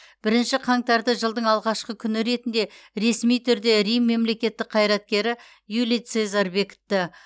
бірінші қаңтарды жылдың алғашқы күні ретінде ресми түрде рим мемлекеттік қайраткері юлий цезарь бекітті